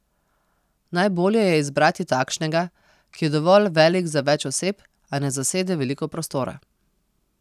Najbolje je izbrati takšnega, ki je dovolj velik za več oseb, a ne zasede veliko prostora.